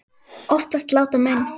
Oftast láta menn